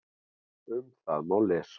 Um það má lesa